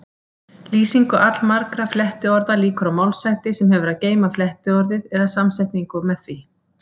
Lýsingu allmargra flettiorða lýkur á málshætti sem hefur að geyma flettiorðið eða samsetningu með því.